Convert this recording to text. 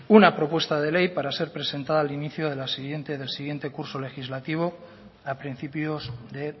una propuesta de ley para ser presentada al inicio del siguiente curso legislativo a principios de